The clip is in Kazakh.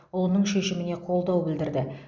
ұлының шешіміне қолдау білдірді